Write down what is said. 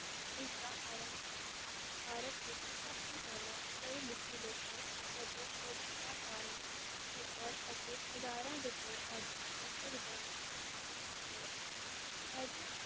ਇਸ ਦਾ ਆਰੰਭ ਭਾਰਤ ਵਿਚ ਸਭ ਤੋਂ ਪਹਿਲਾਂ ਪੜ੍ਹੇ-ਲਿਖੇ ਲੋਕਾਂ ਵੱਲੋਂ ਮੋਟਰਾਂ-ਕਾਰਾਂ, ਸਕੂਟਰ ਅਤੇ ਹਜ਼ਾਰਾਂ ਰੁਪਏ ਆਦਿ ਨਕਦ ਲੈਣ ਦੀ ਮੰਗ ਨਾਲ ਹੋਇਆ, ਅੱਜ